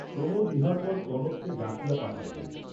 প্রমোদ ইহার পর কনককে ডাকিয়া পাঠাইলেন।